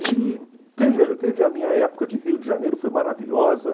E teve teve a minha época de Rio de Janeiro, foi maravilhosa.